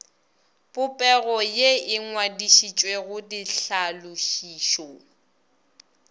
popego ye e ngwadišitšwego ditlhalošišo